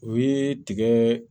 O ye tigɛ